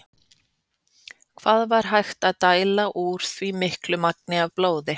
Hvað var hægt að dæla úr því miklu magni af blóði?